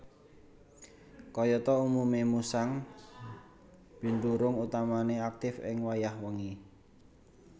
Kayata umume musang binturung utamane aktif ing wayah wengi